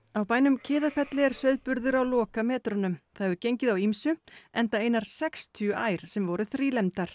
á bænum Kiðafelli er sauðburður á lokametrunum það hefur gengið á ýmsu enda einar sextíu ær sem voru